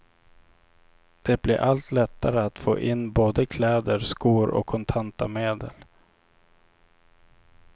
Det blir allt lättare att få in både kläder, skor och kontanta medel.